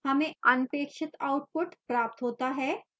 हमें अनपेक्षित output प्राप्त होता है